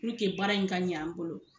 baara in ka ɲɛ an bolo.